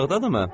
Uzaqdadırmı?